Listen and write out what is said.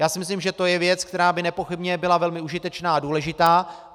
Já si myslím, že to je věc, která by nepochybně byla velmi užitečná a důležitá.